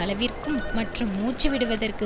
அளவிற்கும் மற்றும் மூச்சுவிடுவதற்கு